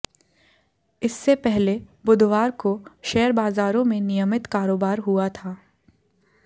इससे पहले बुधवार को शेयर बाजारों में नियमित कारोबार हुआ था